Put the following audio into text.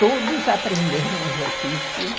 Todos aprenderam os ofícios.